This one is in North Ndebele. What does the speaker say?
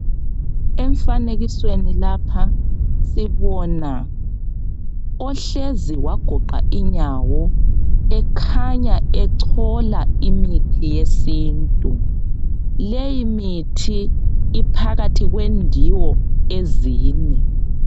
Emfanekisweni kapha sibona ohlezi wagoqa inyawo ekhanya echola imithi yesintu, leyi mithi iphakathi kwendiwo ezine.